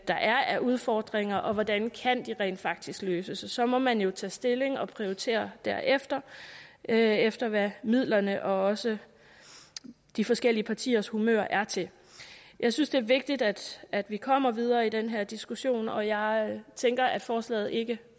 der er af udfordringer og hvordan de rent faktisk kan løses så må man jo tage stilling og prioritere derefter alt efter hvad midlerne og også de forskellige partiers humør er til jeg synes det er vigtigt at at vi kommer videre i den her diskussion og jeg tænker at forslaget ikke